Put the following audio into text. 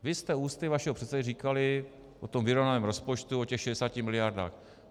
Vy jste ústy vašeho předsedy říkali o tom vyrovnaném rozpočtu, o těch 60 miliardách.